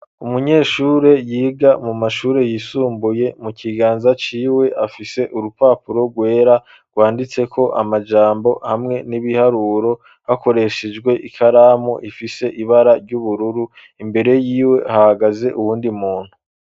Umunyeshure, yiga mu mashure yisumbuye, mu kiganza ciwe, afise urupapuro rwera, rwanditseko amajambo, hamwe n'ibiharuro, hakoreshejwe ikaramu, ifise ibara ry'ubururu; imbere yiwe, hahagaze uwundi muntu.